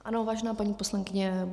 Ano, vážená paní poslankyně.